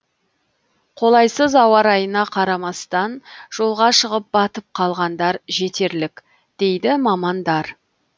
қолайсыз ауа райына қарамастан жолға шығып батып қалғандар жетерлік дейді мамандар